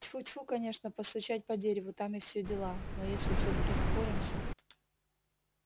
тьфу-тьфу конечно постучать по дереву там и все дела но если всё-таки напоремся